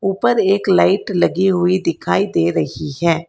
ऊपर एक लाइट लगी हुई दिखाई दे रही है।